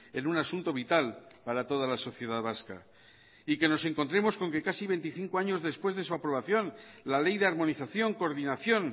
en un asunto vital para toda la sociedad vasca y que nos encontremos con que casi veinticinco años después de su aprobación la ley de armonización coordinación